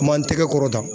Ma n tɛgɛ kɔrɔ da